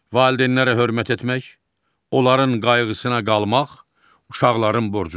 Valideynlərə hörmət etmək, onların qayğısına qalmaq uşaqların borcudur.